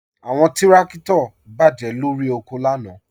Awọn tìrakito bá jẹ lọ́ri oko lànà.